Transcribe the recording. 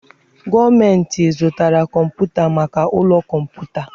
Gọọmenti zụtara kọmpụta maka ụlọ kọmputa.